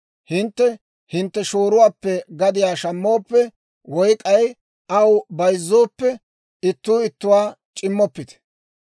« ‹Hintte hintte shooruwaappe gadiyaa shammooppe, woy k'ay aw zal''ooppe, ittuu ittuwaa c'immoppite.